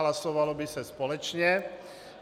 Hlasovalo by se společně.